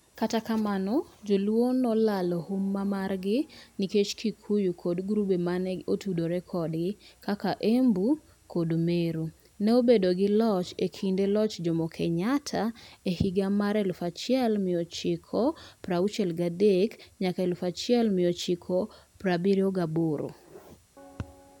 Kata kamano, Jo-luo ne olalo huma margi nikech Kikuyu kod grube ma ne otudore kodgi (Embu kod Meru) ne obedo gi loch e kinde loch Jomo Kenyatta e hig amar 1963 nyaka 1978.